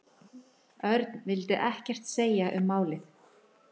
Örn vildi ekkert segja um málið.